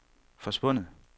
forsvundet